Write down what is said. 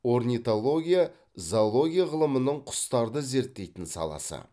орнитология зоология ғылымының құстарды зерттейтін саласы